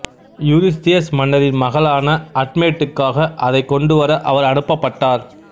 Eurystheus மன்னரின் மகளான அட்மேட்டுக்காக அதைக் கொண்டுவர அவர் அனுப்பப்பட்டார்